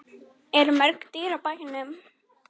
Eru mörg dýr á bænum?